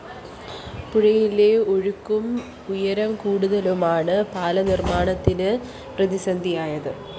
പുഴയിലെ ഒഴുക്കും ഉയരക്കൂടുതലുമാണ് പാലം നിര്‍മ്മാണത്തിന് പ്രതിസന്ധിയായതു